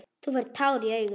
Þú færð tár í augun.